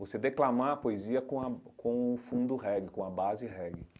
Você declamar a poesia com a com o fundo reggae, com a base reggae.